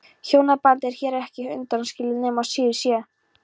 Hjónabandið er hér ekki undanskilið nema síður sé.